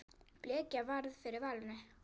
Bleikja varð fyrir valinu.